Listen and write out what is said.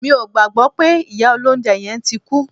Mi ò gbàgbọ́ pé ìyá olóunjẹ yẹn tí kú